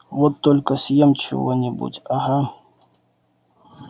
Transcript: вот только съем чего-нибудь ага